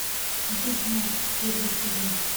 ведьмак первый сезон